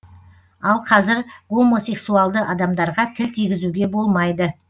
ал қазір гомосексуалды адамдарға тіл тигізуге болмайды